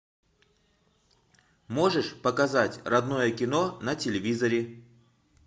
можешь показать родное кино на телевизоре